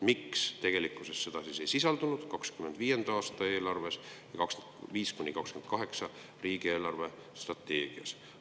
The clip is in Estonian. Miks tegelikkuses seda ei sisaldanud 2025. aasta eelarve ja 2025–2028 riigi eelarvestrateegia?